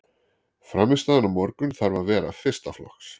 Frammistaðan á morgun þarf að vera fyrsta flokks.